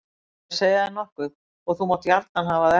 Á ég að segja þér nokkuð og þú mátt gjarna hafa það eftir mér.